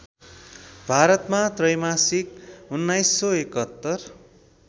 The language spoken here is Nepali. भारतमा त्रैमासिक १९७१